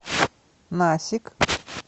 насик